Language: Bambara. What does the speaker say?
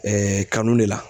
Ɛɛ kanu de la